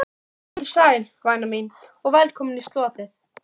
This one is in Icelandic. Kannski ekki beint undanhald, hugsuðum við, en harðvítug varnarbarátta.